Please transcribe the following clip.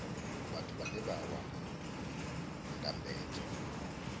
vhathu vhane vha wana ndambedzo